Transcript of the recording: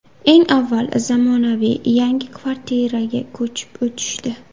Eng avval, zamonaviy, yangi kvartiraga ko‘chib o‘tishdi.